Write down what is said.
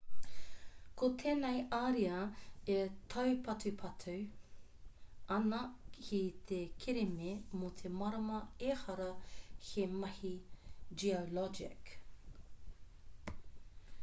ko tēnei ariā e taupatupatu ana ki te kereme mō te marama ehara he mahi geologic